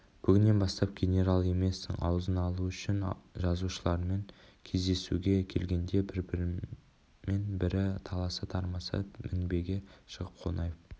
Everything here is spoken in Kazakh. бүгіннен бастап генерал емессің аузын алу үшін жазушылармен кездесуге келгенде бірімен бірі таласа-тармаса мінбеге шығып қонаев